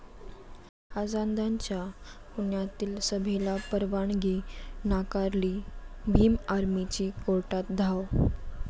आझादांच्या पुण्यातील सभेला परवानगी नाकारली, भीम आर्मीची कोर्टात धाव